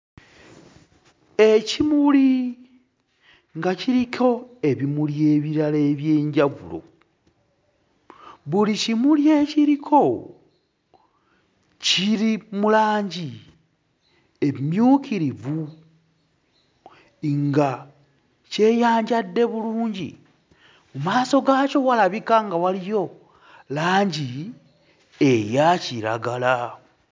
Ekimuli nga kiriko ebimuli ebirala eby'enjawulo, buli kimuli ekiriko kiri mu langi emmyukirivu nga kyeyanjadde bulungi. Mmaaso gaakyo walabika nga waliyo langi eya kiragala.